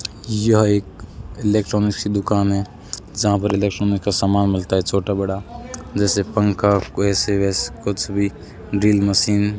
यह एक इलेक्ट्रॉनिक की दुकान है जहां पर इलेक्ट्रॉनिक में का सामान मिलता है छोटा बड़ा जैसे पंखा ऐसे वैसे कुछ भी ड्रिल मशीन --